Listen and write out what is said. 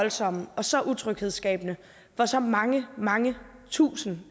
voldsomme og så utryghedsskabende for så mange mange tusind